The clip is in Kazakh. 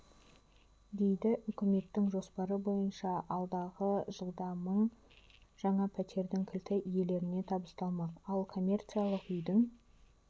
дейді үкіметтің жоспары бойынша алдағы жылда мың жаңа пәтердің кілті иелеріне табысталмақ ал комммерциялық үйдің